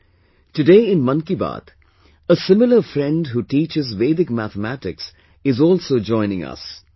Friends, today in 'Mann Ki Baat' a similar friend who teaches Vedic Mathematics is also joining us